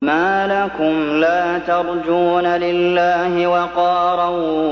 مَّا لَكُمْ لَا تَرْجُونَ لِلَّهِ وَقَارًا